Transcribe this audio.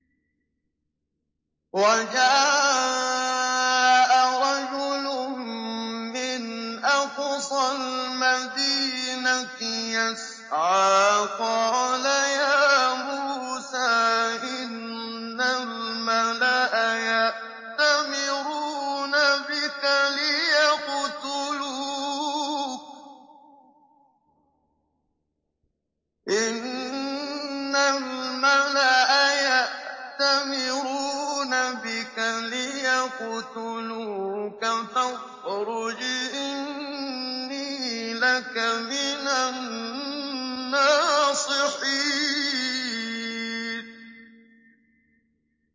وَجَاءَ رَجُلٌ مِّنْ أَقْصَى الْمَدِينَةِ يَسْعَىٰ قَالَ يَا مُوسَىٰ إِنَّ الْمَلَأَ يَأْتَمِرُونَ بِكَ لِيَقْتُلُوكَ فَاخْرُجْ إِنِّي لَكَ مِنَ النَّاصِحِينَ